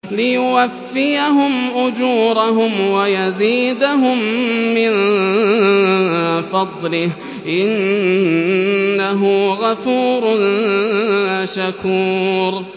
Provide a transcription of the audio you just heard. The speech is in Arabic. لِيُوَفِّيَهُمْ أُجُورَهُمْ وَيَزِيدَهُم مِّن فَضْلِهِ ۚ إِنَّهُ غَفُورٌ شَكُورٌ